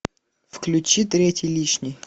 включи третий лишний